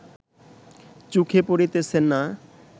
চোখে পড়িতেছে না